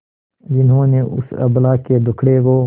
जिन्होंने उस अबला के दुखड़े को